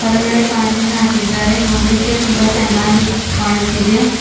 ಹೊರಗಡೆ ಕಾಂಜಿಂದ್ ಹಾಕಿದ್ದಾರೆ ನೋಡಲಿಕ್ಕೆ ತುಂಬಾ ಚೆನ್ನಾಗಿ ಕಾಣುತ್ತಿದೆ.